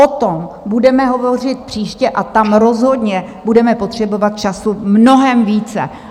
O tom budeme hovořit příště a tam rozhodně budeme potřebovat času mnohem více.